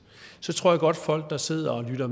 så tror jeg godt at folk der sidder og lytter